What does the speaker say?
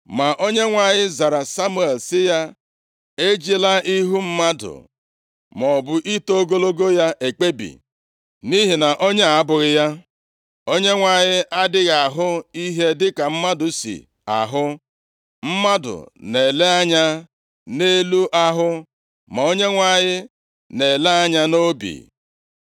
Ma Onyenwe anyị zara Samuel sị ya, “Ejila ihu mmadụ maọbụ ito ogologo ya ekpebi, nʼihi na onye a abụghị ya. Onyenwe anyị adịghị ahụ ihe dịka mmadụ si ahụ. Mmadụ na-ele anya nʼelu ahụ, ma Onyenwe anyị na-ele anya nʼobi.”